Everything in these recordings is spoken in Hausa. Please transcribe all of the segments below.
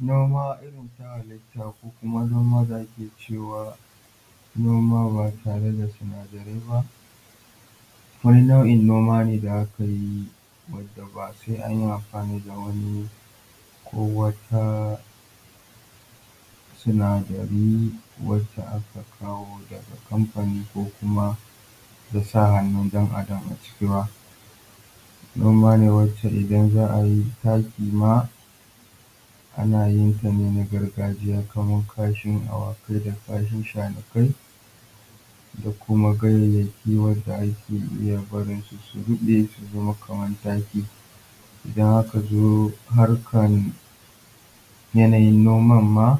Noma irin ta halitta ko kuma noma da ake cewa noma ba tare da sinadarai ba, wani nau’in noma ne da aka yi wadda ba sai an yi amfani da wani ko wata sinadari wacce aka kawo daga kamfani ko kuma da sa hannun ɗan’adam a ciki ba. Noma ne wacce idan za a yi taki ma ana yin ta ne na gargajiya kamar kashin awakai da kashin shanukai da kuma ganyayyaki wadda ake iya barin su su ruɓe su zama kamar taki. Idan aka zo harkar yanayin noman ma,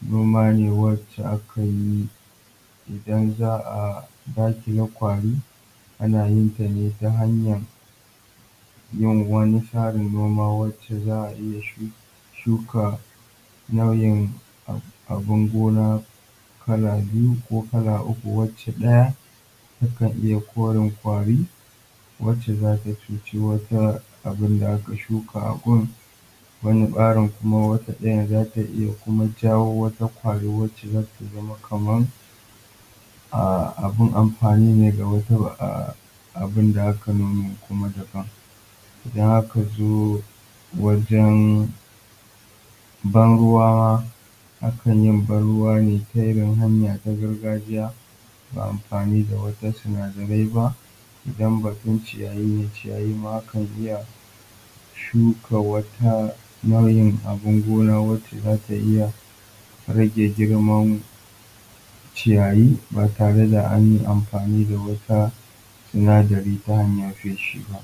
noma ne wacce aka yi idan za a za ki ga ƙwari ana yin ta ne ta hanyar yin wani tsarin noma wacce za a iya shu shuka nau’in abin gona kala biyu ko kala uku wacce ɗaya takan iya korin ƙwari wacce za ta cuce wata abin da aka shuka a gun. Wata tsarin kuma wata ɗayan kuma zata iya jawo wata ƙwari wacce zata iya zama kaman ahh abin amfani ne ga wata ahhhh abin da aka noma kuma daban. Idan ska zo wajen ban ruwa, akan yi ban ruwa ne ta irin hanya ta gargajiya, ba amfani da wata sinadarai ba idan batun ciyayi ne ciyayi ma akan iya shuka wata nau’in abun gona wacce zata iya rage girman ciyayi ba tare da an yi amfani da wata sinadari ta hanyar feshi ba.